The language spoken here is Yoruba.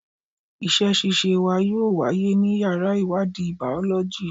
Ìṣe ṣíṣe wa yóò wáyé ní yàrá ìwádìí Bàọ́lọ́jì.